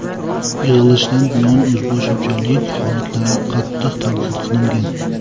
yig‘ilishda bunday o‘zibo‘larchilik holatlari qattiq tanqid qilingan.